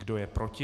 Kdo je proti?